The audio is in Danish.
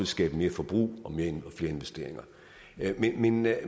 skabe mere forbrug og flere investeringer men jeg